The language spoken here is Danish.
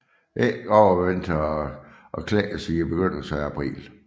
Ægget overvintrer og klækkes i begyndelsen af april